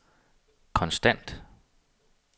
konstant